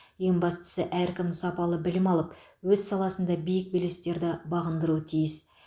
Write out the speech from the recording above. ең бастысы әркім сапалы білім алып өз саласында биік белестерді бағындыруы тиіс